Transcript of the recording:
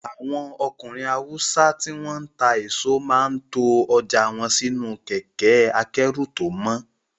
Àwọn ọkùnrin Haúsá tí wọ́n ń ta èso máa ń to ọjà wọn sínú kẹkẹ́-akẹ́rù tó mọ́.